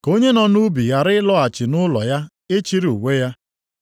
Ka onye nọ nʼubi ghara ịlọghachi nʼụlọ ya ịchịrị uwe ya.